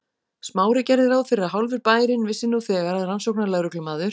Smári gerði ráð fyrir að hálfur bærinn vissi nú þegar að rannsóknarlögreglumaður